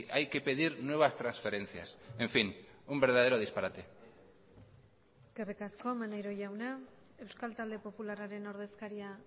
hay que pedir nuevas transferencias en fin un verdadero disparate eskerrik asko maneiro jauna euskal talde popularraren ordezkaria